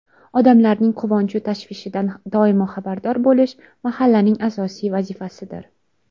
Odamlarning quvonchu tashvishidan doimo xabardor bo‘lish mahallaning asosiy vazifasidir.